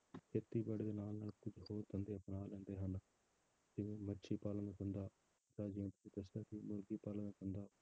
ਖੇਤੀਬਾੜੀ ਦੇ ਨਾਲ ਨਾਲ ਕੁੱਝ ਹੋਰ ਧੰਦੇ ਅਪਣਾ ਲੈਂਦੇ ਹਨ, ਜਿਵੇਂ ਮੱਛੀ ਪਾਲਣ ਦਾ ਧੰਦਾ, ਤਾਂ ਜਿਵੇਂ ਤੁਸੀਂ ਦੱਸਿਆ ਸੀ ਮੁਰਗੀ ਪਾਲਣ ਦਾ ਧੰਦਾ